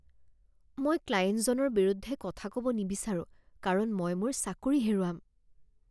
মই ক্লায়েণ্টজনৰ বিৰুদ্ধে কথা ক'ব নিবিচাৰো কাৰণ মই মোৰ চাকৰি হেৰুৱাম